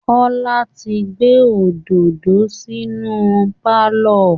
Kọ́lá ti gbé òdòdó sinú pálọ̀